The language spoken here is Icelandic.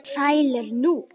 Sælir nú.